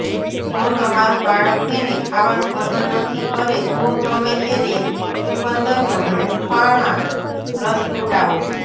જો તમારું બાળક તેને ખાવાનું પસંદ નથી કરે તો તમે તેને ચુકંદરનો હૂંફાણા રસ પીવડાવો